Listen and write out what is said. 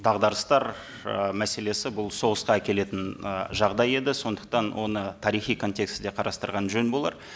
дағдарыстар ы мәселесі бұл соғысқа әкелетін і жағдай еді сондықтан оны тарихи контекстте қарастырған жөн болар